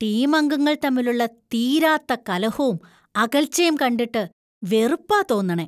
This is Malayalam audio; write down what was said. ടീമംഗങ്ങൾ തമ്മിലുള്ള തീരാത്ത കലഹോം അകൽച്ചേം കണ്ടിട്ട് വെറുപ്പാ തോന്നണേ..